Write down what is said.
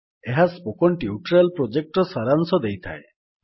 ଏହା spoken tutorial ପ୍ରୋଜେକ୍ଟର ସାରାଂଶ ଦେଇଥାଏ